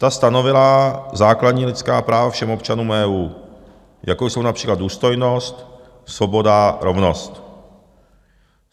Ta stanovila základní lidská práva všem občanům EU, jako jsou například důstojnost, svoboda, rovnost.